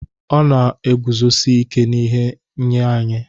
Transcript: Ọ na-eguzosi ike n'ihe nye anyị